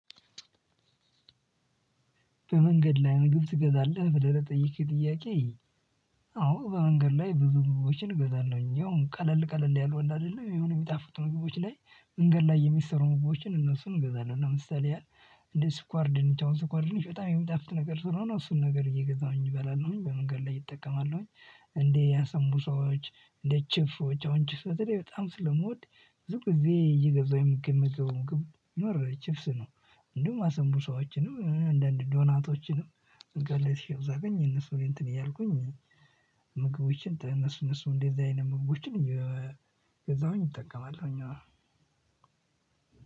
በመንገድ ላይ ምግብ ትገዛለህ ብለህ ለጠየከኝ ጥያቄ? አዎ በመንገድ ላይ ብዙ ምግቦችን እገዛለሁኝ ያው ቀለል ቀለል ያሉ አለ አይደለ የሆኑ የሚጣፍጡ ምግቦች ላይ። መንገድ ላይ የሚሰሩ ምግችን እነሱን እገዛለሁ ለምሳሌ ያህል። እንደ ስኳር ድንች አሁን ስኳር ድንች በጣም የሚጣፍጥ ነገር ስለሆነ እሱን ነገር እየገዛሁኝ እበላለሁኝ በመንገድ ላይ እጠቀማለሁኝ። እንደ አሳምቡሳዎች እንደ ችብሶች አሁን ችብስች በተለይ ስለምወድ ብዙ ጊዜ እየገዛሁኝ የምመገበው ምግብ ቢኖር ችብስ ነው። እንዲሁም አሳምቡሳዎችንም አንዳንድ ዶናቶችንም። መንገድ ላይ ስሄድ ሳገኝ እነሱን እንትን እያልኩኝ ምግቦችን እነሱ እነሱ እንደዚህ አይነት ምግቦችን እየገዛሁኝ ይጠቀማል እኛ